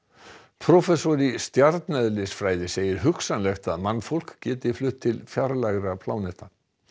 prófessor í stjarneðlisfræði segir hugsanlegt að mannfólk geti flutt til fjarlægra pláneta